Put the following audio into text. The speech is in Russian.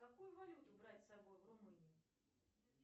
какую валюту брать с собой в румынию